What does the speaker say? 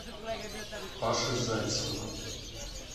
паши зайцева